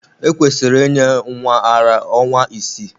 Ekwesịrị inye nwa ara ara ọnwa isii.